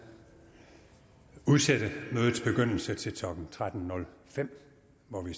udsætte mødets begyndelse til klokken tretten nul fem hvor den